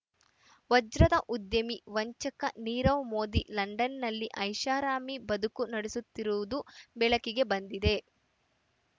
ವಜ್ರದ ಉದ್ಯಮಿ ವಂಚಕ ನೀರವ್ ಮೋದಿ ಲಂಡನ್‌ನಲ್ಲಿ ಐಷಾರಾಮಿ ಬದುಕು ನಡೆಸುತ್ತಿರುವುದು ಬೆಳಕಿಗೆ ಬಂದಿದೆ